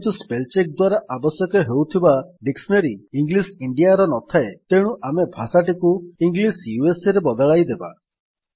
ଯେହେତୁ spell check ଦ୍ୱାରା ଆବଶ୍ୟକ ହେଉଥିବା ଡିକ୍ସିନାରୀ ଇଂଲିଶ Indiaର ନଥାଏ ତେଣୁ ଆମେ ଭାଷାଟିକୁ ଇଂଲିଶ USAରେ ବଦଳାଇ ଦେବା